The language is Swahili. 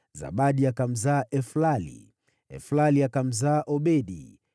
Zabadi akamzaa Eflali, Eflali akamzaa Obedi,